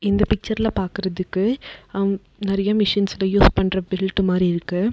இந்த பிச்சர்ல பாக்குறதிக்கு அம் நெறைய மிஷின்ஸ்க யூஸ் பண்ற பெல்ட் மாரி இருக்கு.